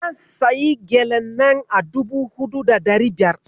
Zan sayi gyalen nan na dubu huɗu da ɗari biyar.